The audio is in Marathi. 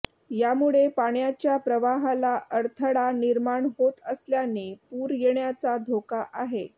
यामुळे पाण्याच्या प्रवाहाला अडथळा निर्माण होत असल्याने पूर येण्याचा धोका आहे